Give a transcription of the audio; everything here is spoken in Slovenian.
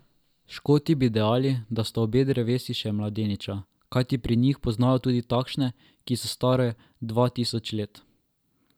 Škoti bi dejali, da sta obe drevesi še mladeniča, kajti pri njih poznajo tudi takšne, ki so stare dva tisoč let.